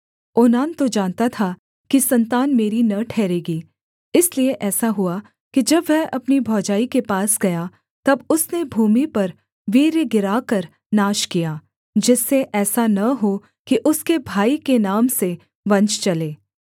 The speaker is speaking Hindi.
ओनान तो जानता था कि सन्तान मेरी न ठहरेगी इसलिए ऐसा हुआ कि जब वह अपनी भौजाई के पास गया तब उसने भूमि पर वीर्य गिराकर नाश किया जिससे ऐसा न हो कि उसके भाई के नाम से वंश चले